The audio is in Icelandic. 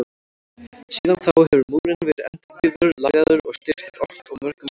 Síðan þá hefur múrinn verið endurbyggður, lagaður og styrktur oft og mörgum sinnum.